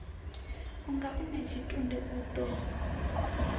unga u natshitunde o ḓo